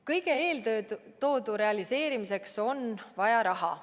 Kõige eeltoodu realiseerimiseks on vaja raha.